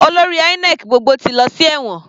Olórí INEC gbogbo ti lọ sí ẹ̀wọ̀n.